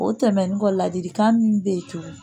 O tɛmɛnen kɔ la ladilikan min bɛ cogo di